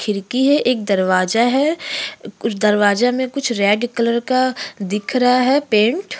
खिड़की है एक दरवाजा है कुछ दरवाजा में कुछ रेड कलर का दिख रहा है पेन्ट ।